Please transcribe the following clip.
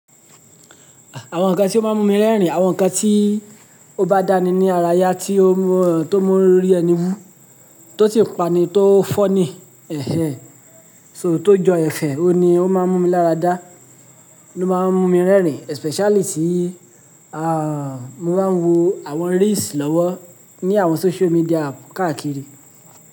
Àwọn nkan tí ó máa ń mú mi rẹ́rìn, àwọn nkan tí ó bá dá mi ní ara ya tí ó mu rí ẹni wú, tó sì ń pa ni tó funny, ẹ̀hẹ̀n, so tó jọ ẹfẹ̀, òun ni ó máa ń mú mi láradá, ló máa ń mú mi rẹ́rìn especially tí, à, mo bá ń wo àwọn reels lọ́wọ́ ní àwọn social media app káàkiri.